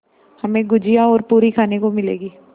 हमें गुझिया और पूरी खाने को मिलेंगी